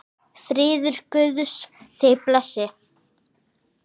Friður Guðs þig blessi.